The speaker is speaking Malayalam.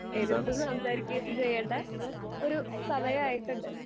എതിർത്ത് സംസാരിക്കുകയും ചെയ്യണ്ട ഒരു സമയായിട്ടിണ്ട്.